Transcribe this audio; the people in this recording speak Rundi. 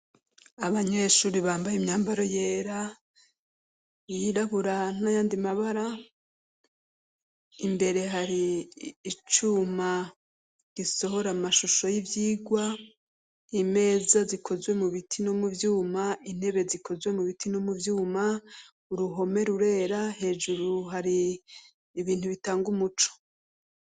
Abanyeshuri bambaye imyambaro yera yiraburanta yandimabara imbere hari icuma gisohora amashusho y'ivyigwa imeza zikozwe mu biti no mu vyuma intebe zikozwe mu biti no mu vyuma uruhome rurera hejuru hari ibintu bitanga umuco.